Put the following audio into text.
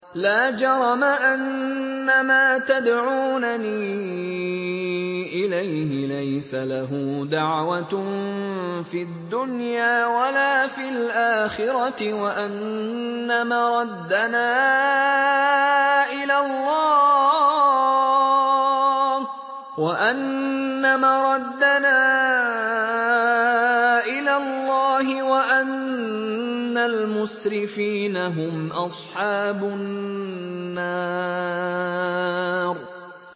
لَا جَرَمَ أَنَّمَا تَدْعُونَنِي إِلَيْهِ لَيْسَ لَهُ دَعْوَةٌ فِي الدُّنْيَا وَلَا فِي الْآخِرَةِ وَأَنَّ مَرَدَّنَا إِلَى اللَّهِ وَأَنَّ الْمُسْرِفِينَ هُمْ أَصْحَابُ النَّارِ